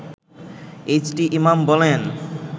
H T Imam বলেন